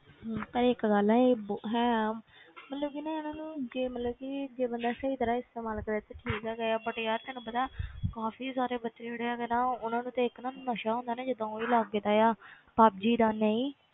ਹਮ ਪਰ ਇੱਕ ਗੱਲ ਇਹ ਹੈ ਆ ਮਤਲਬ ਕਿ ਨਾ ਇਹਨਾਂ ਨੂੰ ਜੇ ਮਤਲਬ ਕਿ ਜੇ ਬੰਦਾ ਸਹੀ ਤਰ੍ਹਾਂ ਇਸਤੇਮਾਲ ਕਰੇ ਤੇ ਠੀਕ ਹੈਗਾ ਹੈ but ਯਾਰ ਤੈਨੂੰ ਪਤਾ ਕਾਫ਼ੀ ਸਾਰੇ ਬੱਚੇ ਜਿਹੜੇ ਹੈਗੇ ਨਾ ਉਹਨਾਂ ਨੂੰ ਤਾਂ ਇੱਕ ਨਾ ਨਸ਼ਾ ਹੁੰਦਾ ਨਾ ਜਿੱਦਾਂ ਉਹੀ ਲੱਗਦਾ ਆ ਪੱਬਜੀ ਦਾ ਨਹੀਂ